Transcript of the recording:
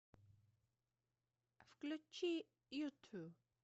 включи юту